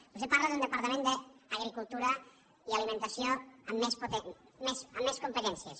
vostè parla d’un departament d’agricultura i alimentació amb més competències